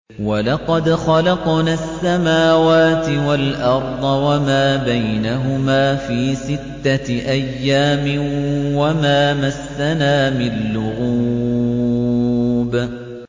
وَلَقَدْ خَلَقْنَا السَّمَاوَاتِ وَالْأَرْضَ وَمَا بَيْنَهُمَا فِي سِتَّةِ أَيَّامٍ وَمَا مَسَّنَا مِن لُّغُوبٍ